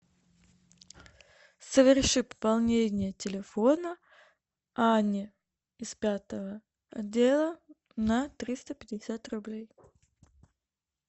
соверши пополнение телефона ане из пятого отдела на триста пятьдесят рублей